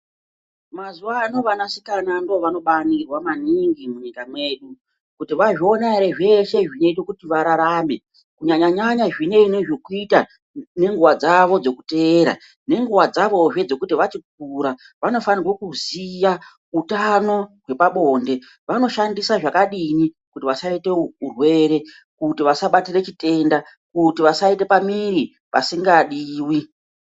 Mazuwano vanasikana ndivo vanobaningirwa maningi munyika mwedu, kuti vazviona ere zveshe zvinoita kuti vararame kunyanya nyanya zvinei zvokuita nenguva dzavo dzekuteera nenguva dzavozve dzekuti vachikura. Vanofanirwa kuziya utano hwepabonde, vanoshandisa zvakadini kuti vasaite hururwe ,,kuti vasabatire chitenda, kuti vasabatire pamuiri pasingadiwi.